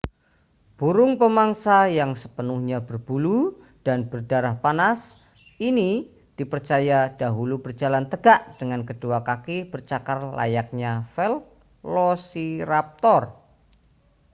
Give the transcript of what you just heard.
burung pemangsa yang sepenuhnya berbulu dan berdarah panas ini dipercaya dahulu berjalan tegak dengan kedua kaki bercakar layaknya velociraptor